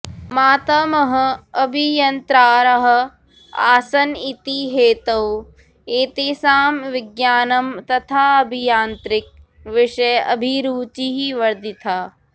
मातामहः अभियन्त्रारः आसन् इति हेतोः एतेषां विज्ञानं तथा अभियान्त्रिक विषये अभिरूचिः वर्धिता